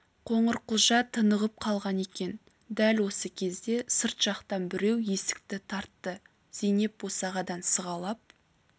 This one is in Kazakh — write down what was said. қоңырқұлжа тынығып қалған екен дәл осы кезде сырт жақтан біреу есікті тарт- ты зейнеп босағадан сығалап